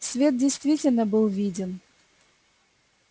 свет действительно был виден